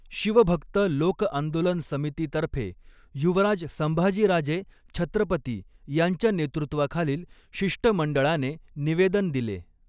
शिवभक्त लोकआंदोलन समितीतर्फे युवराज संभाजीराजे छत्रपती यांच्या नेतृत्वाखालील शिष्टमंडळाने निवेदन दिले.